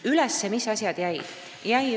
Mis asjad üles jäid?